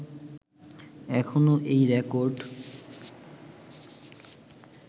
এখনও এই রেকর্ড